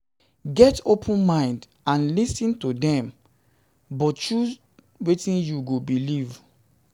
Get open mind and lis ten to dem but choose wetin you go believe